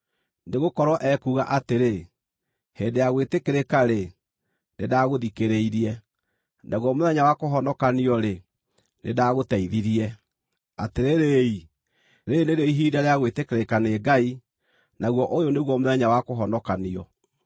Nĩgũkorwo ekuuga atĩrĩ, “Hĩndĩ ya gwĩtĩkĩrĩka-rĩ, nĩndagũthikĩrĩirie, naguo mũthenya wa kũhonokanio-rĩ, nĩndagũteithirie.” Atĩrĩrĩ-i, rĩĩrĩ nĩrĩo ihinda rĩa gwĩtĩkĩrĩka nĩ Ngai, naguo ũyũ nĩguo mũthenya wa kũhonokanio.